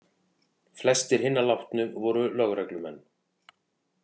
Flestir hinna látnu voru lögreglumenn